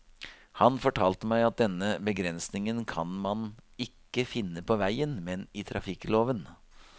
Han fortalte meg at denne begrensningen kan man ikke finne på veien, men i trafikkloven.